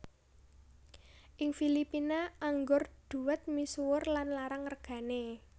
Ing Filipina anggur dhuwet misuwur lan larang regané